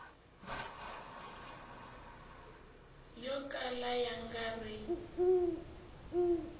yo kala ya nga ri